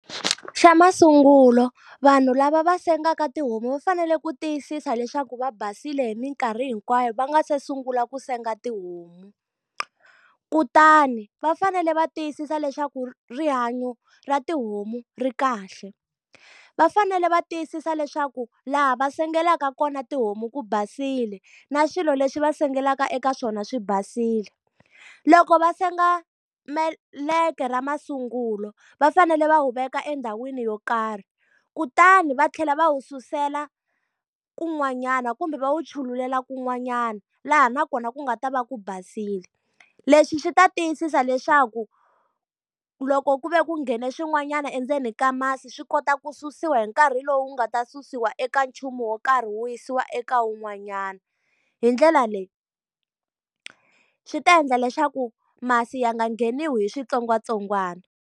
Xa masungulo vanhu lava va sengaku tihomu va fanele ku tiyisisa leswaku va basile hi mikarhi hinkwayo, va nga se sungula ku senga tihomu. Kutani va fanele va tiyisisa leswaku rihanyo ra tihomu ri kahle. Va fanele va tiyisisa leswaku laha va sengela ka kona tihomu ku basile na swilo leswi va sengela eka swona swi basile. Loko va senga meleka ra masungulo, va fanele va wu veka endhawini yo karhi. Kutani va tlhela va wu susela kun'wanyana kumbe va wu chululela kun'wanyana laha na kona ku nga ta va ku basile. Leswi swi ta tiyisisa leswaku loko ku ve ku nghene swin'wanyana endzeni ka masi swi kota ku ku susiwa hi nkarhi lowu nga ta susiwa eka nchumu wo karhi wu yisiwa eka wun'wanyana. Hi ndlela leyi swi ta endla leswaku masi ya nga ngheniwi hi switsongwatsongwana.